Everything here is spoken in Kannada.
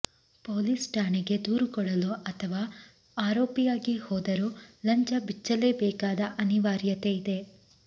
ಪೊಲೀಸ್ ಠಾಣೆಗೆ ದೂರು ಕೊಡಲು ಅಥವಾ ಆರೋಪಿಯಾಗಿ ಹೋದರೂ ಲಂಚ ಬಿಚ್ಚಲೇಬೇಕಾದ ಅನಿವಾರ್ಯತೆ ಇದೆ